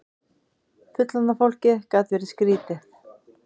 Fullorðna fólkið gat verið skrýtið.